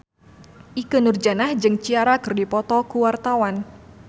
Ikke Nurjanah jeung Ciara keur dipoto ku wartawan